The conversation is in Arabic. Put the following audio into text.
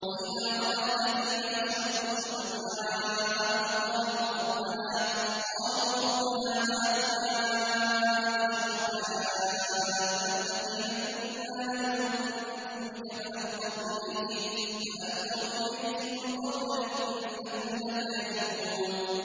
وَإِذَا رَأَى الَّذِينَ أَشْرَكُوا شُرَكَاءَهُمْ قَالُوا رَبَّنَا هَٰؤُلَاءِ شُرَكَاؤُنَا الَّذِينَ كُنَّا نَدْعُو مِن دُونِكَ ۖ فَأَلْقَوْا إِلَيْهِمُ الْقَوْلَ إِنَّكُمْ لَكَاذِبُونَ